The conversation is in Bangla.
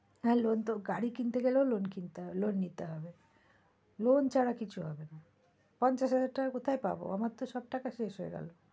হ্যাঁ loan তো গাড়ি কিনতে গেলেও loan কিনতে হবে loan নিতে হবে loan ছাড়া কিছু হবে না পঞ্চাশ হাজার টাকা কোথায় পাবো? আমার তো সব টাকা শেষ হয়ে গেলো।